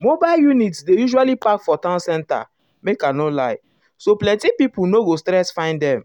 mobile units dey usually park for town center make i no um lie so plenty people no go stress find them.